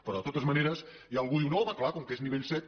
però de totes maneres ja algú diu no home clar com que és nivell set